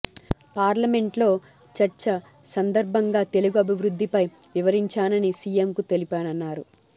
parliament లో చర్చ సందర్భంగా తెలుగు అభివృద్ధిపై వివరించానని సీఎంకు తెలిపానన్నారు